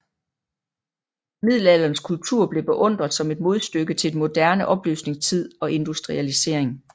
Middelalderens kultur blev beundret som et modstykke til den moderne oplysningstid og industrialisering